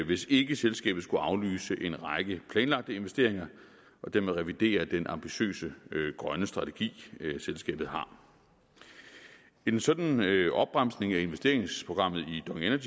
hvis ikke selskabet skulle aflyse en række planlagte investeringer og dermed revidere den ambitiøse grønne strategi selskabet har en sådan opbremsning af investeringsprogrammet